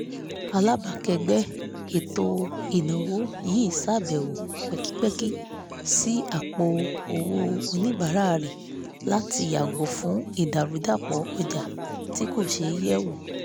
alábàákẹ́gbẹ́ ètò-ináwó yí ṣàbẹ̀wò pẹ́kípẹ́kí sí àpò-owó oníbàárà rẹ̀ láti yàgò fún ìdàrúdàpọ̀ ojà tí kò ṣeé yẹ̀ wò